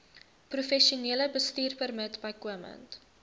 professionele bestuurpermit bykomend